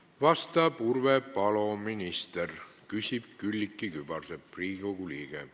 Vastab Urve Palo, minister, küsib Külliki Kübarsepp, Riigikogu liige.